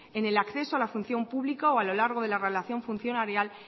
en el acceso a la función pública o a lo largo de la evaluación funcionarial